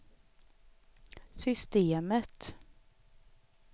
systemet